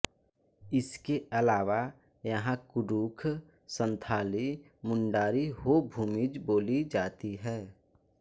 इसके अलावा यहां कुड़ुख संथाली मुंडारी हो भूमिज बोली जाती है